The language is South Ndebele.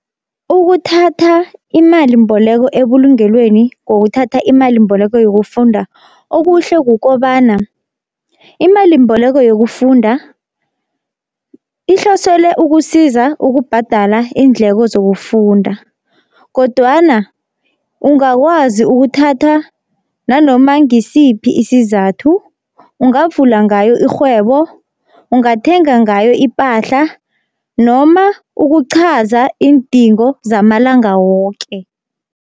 Ukuthatha imalimboleko ebulungelweni ngokuthatha imalimboleko yokufunda okuhle kukobana, imalimboleko yokufunda ihloselwe ukusiza ukubhadala iindleko zokufunda, kodwana ungakwazi ukuthatha nanoma ngisiphi isizathu ungavula ngayo irhwebo, ungathenga ngayo ipahla noma ukuqhaza iindingo zamalanga woke.